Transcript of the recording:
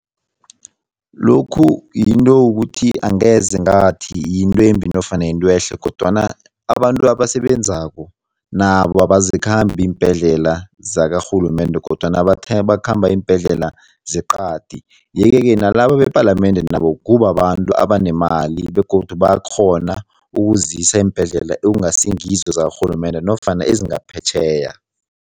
Lokhu yinto yokuthi angeze ngathi yinto embi nofana yintwehle kodwana abantu abasebenzako nabo azikhambi iimbhedlela zakarhulumende kodwana bakhamba iimbhedlela zeqadi yeke-ke nalaba bepalamende nabo kubabantu abanemali begodu bayakghona ukuzisa eembhedlela ekungasingizo zakarhulumende nofana ezingaphetjheya.